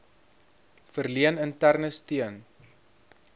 verleen interne steun